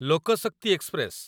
ଲୋକ ଶକ୍ତି ଏକ୍ସପ୍ରେସ